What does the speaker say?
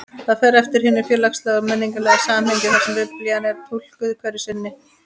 Það fer eftir hinu félagslega og menningarlega samhengi þar sem Biblían er túlkuð hverju sinni.